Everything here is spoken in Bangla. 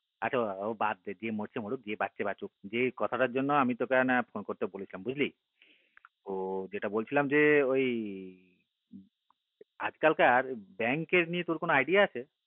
আরেকটা কথা ও বাদ দে যে মরছে মরছে যে বাজচ্ছে বাঁচুক যে কথাটার জন্য আমি তোকে phone করতে বলেছিলাম বুজলি তো যেটা বলছিলাম ওই আজ কালকার bank এর নিয়ে id